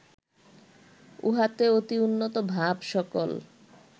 উহাতে অতি উন্নত ভাব সকল